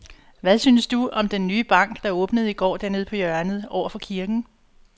Hvad synes du om den nye bank, der åbnede i går dernede på hjørnet over for kirken?